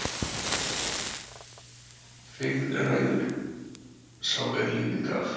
Feigð ræður sá er lífið gaf.